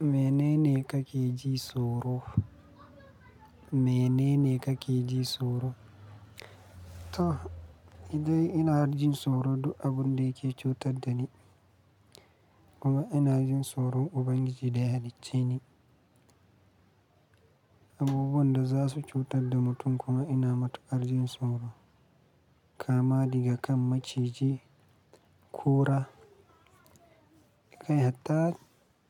Menene kake ji tsoro? Menene kake ji tsoro? To, idan ina harjin tsoro, abun da yake cutar da ni kuma ina jin tsoron Ubangiji da ya halicce ni. Abubuwan da za su cutar da mutum kuma ina matukar jin tsoro. Kamani ga kan maciji, kura, kai har ta,